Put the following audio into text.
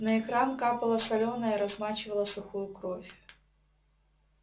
на экран капало солёное размачивало сухую кровь